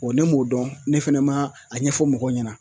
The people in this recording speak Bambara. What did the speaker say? ne m'o dɔn ne fɛnɛ ma a ɲɛfɔ mɔgɔw ɲɛna